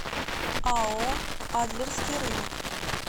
ао адлерский рынок